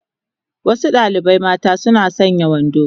Wasu dalibai mata suna sanya wando